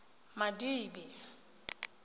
madibe